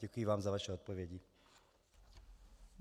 Děkuji vám za vaše odpovědi.